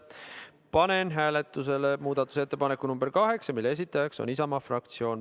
Panen hääletusele muudatusettepaneku nr 8, mille esitaja on Isamaa fraktsioon.